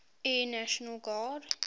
air national guard